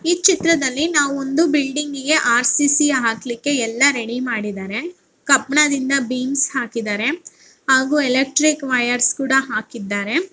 ಈ ಚಿತ್ರದಲ್ಲಿ ನಾವು ಒಂದು ಬಿಲ್ಡಿಂಗ್ ಗೆ ಆರ್.ಸಿ.ಸಿ ಹಾಕ್ಲಿಕ್ಕೆ ಎಲ್ಲ ರೆಡಿ ಮಾಡಿದ್ದಾರೆ ಕಬ್ಬಿಣದಿಂದ ಭೀಮ್ಸ ಹಾಕಿದ್ದಾರೆ ಹಾಗು ಎಲೆಕ್ಟ್ರಿಕ್ ವೈಯರಸ ಕೂಡ ಹಾಕಿದ್ದಾರೆ.